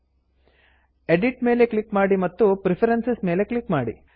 edit edit ಮೇಲೆ click ಮಾಡಿ ಮತ್ತು ಪ್ರೆಫರೆನ್ಸಸ್ ಪ್ರಿಫರೆನ್ಸಸ್ ಮೇಲೆ ಕ್ಲಿಕ್ ಮಾಡಿ